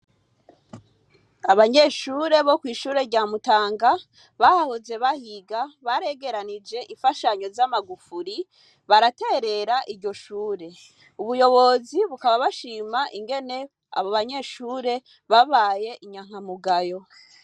Abanyeshure bo kw'ishure rya mutanga bahahoze bahiga baregeranije ifashanyo z'amagufuri baraterera iryo shure ubuyobozi bukaba bashima ingene abo banyeshure babaye inyankamugayo.